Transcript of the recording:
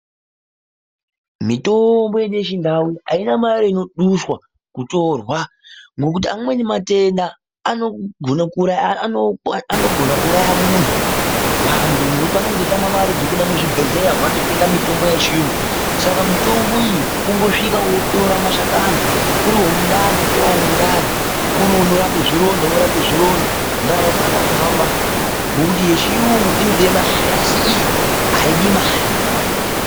Mitombo yedu yechindau aina mare inoduswa kutorwa ngokuti matenda anogona kuuraya muntu vantu ngekuti vanemge veitma mare dzekuenda muzvibhedhleya umu vandotenga mitombo yechiyungu saka mitombo iyi kungosvika wotora mashakani uri womundani wotora womundani uri unorapa zvironda worape zvironda ndaramo yoo a kuhamba ngekuti yechiyungu i ode mare asi iyi aidi mare.